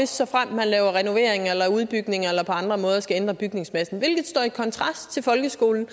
såfremt man laver renoveringer eller udbygninger eller på andre måder skal ændre bygningsmassen det står i kontrast til folkeskolen